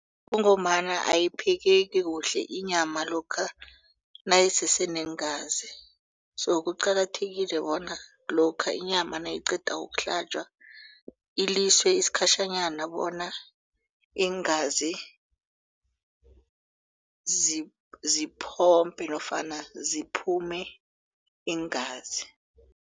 Kungombana ayiphekeki kuhle inyama lokha nayisese neengazi so kuqakathekile bona lokha inyama nayiqeda ukuhlatjwa iliswe isikhatjhanyana bona iingazi ziphomphe nofana ziphume iingazi.